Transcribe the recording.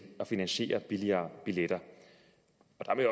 at finansiere billigere billetter